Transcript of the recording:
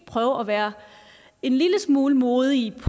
prøve at være en lille smule modige i